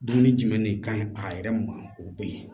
Dumuni jumɛn de ka ɲi a yɛrɛ ma o bɔ ye